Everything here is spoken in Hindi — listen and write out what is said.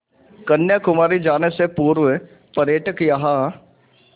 कन्याकुमारी जाने से पूर्व पर्यटक यहाँ